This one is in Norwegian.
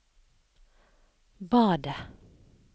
badet